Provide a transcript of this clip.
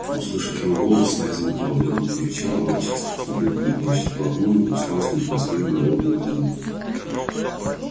услышав его голос стая заметалась дружно зарычала а волчица подступила к нему почти вплотную и уставилась на него тоскливыми голодными глазами